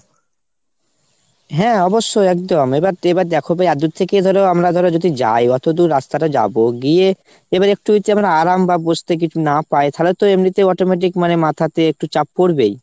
হ্যাঁ অবশ্যই একদম। এবার এবার দ্যাখো ভাই এতদূর থেকে আমরা ধরো যদি যাই, অতদূর রাস্তাটা যাবো গিয়ে এবার একটু হচ্ছে আরাম বা বসতে কিছু না পাই তালে তো এমনিতেই automatic মানে মাথাতে একটু চাপ পরবেই ।